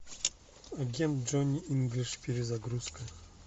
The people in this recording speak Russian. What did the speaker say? агент джони инглиш перезагрузка